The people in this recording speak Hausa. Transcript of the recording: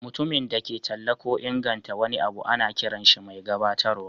Mutumin da ke talla ko inganta wani abu ana kiran shi mai gabatarwa.